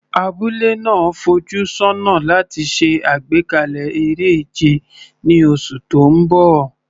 Abúlé náà ń fojú sọ́nà láti ṣe àgbékalẹ̀ eré ìje ní oṣù tó ń bọ̀.